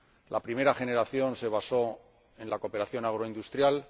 La primera generación se basó en la cooperación agroindustrial